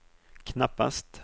knappast